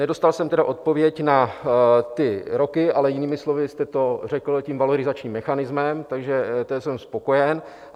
Nedostal jsem tedy odpověď na ty roky, ale jinými slovy jste to řekl tím valorizačním mechanismem, takže jsem spokojen.